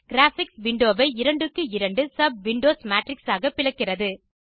graphics window வை 2 க்கு 2 sub windows matrix ஆக பிளக்கிறது